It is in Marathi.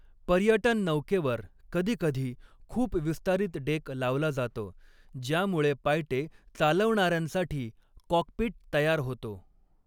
पर्यटन नौकेवर कधीकधी खूप विस्तारित डेक लावला जातो, ज्यामुळे पायटे चालवणाऱ्यांसाठी 'कॉकपिट' तयार होतो.